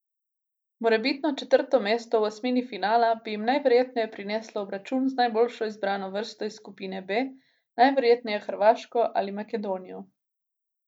Morebitno četrto mesto v osmini finala bi jim najverjetneje prineslo obračun z najboljšo izbrano vrsto iz skupine B, najverjetneje Hrvaško ali Makedonijo.